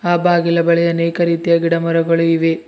ಆ ಬಾಗಿಲ ಬಳಿ ಅನೇಕ ರೀತಿಯ ಗಿಡ ಮರಗಳು ಇವೆ.